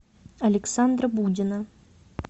александра будина